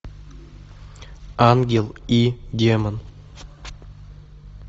ангел и демон